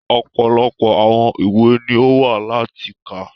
Ọ̀pọ̀lọpọ̀ àwọn ìwé ni o wa láti ka.